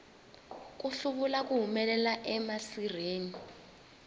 ku hluvula ku humelela emasirheni